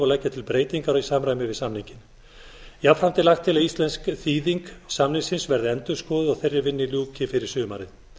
og leggja til breytingar í samræmi við samninginn jafnframt er lagt til að íslensk þýðing samningsins verði endurskoðuð og þeirri vinnu ljúki fyrir sumarið